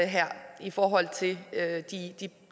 i forhold til